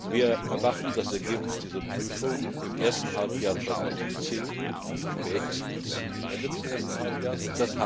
Wir erwarten das Ergebnis dieser Prüfung im ersten Halbjahr 2010, spätestens am Ende des ersten Halbjahres.